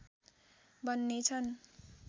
बन्ने छन्